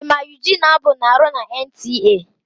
Ị ma Yuginia Abu na-arụ na Entiee?